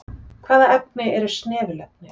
Hvaða efni eru snefilefni?